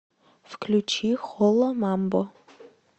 включи хола мамбо